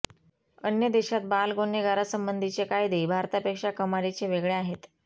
अन्य देशात बाल गुन्हेगारांसंबधीचे कायदे भारतापेक्षा कमालीचे वेगळे आहेत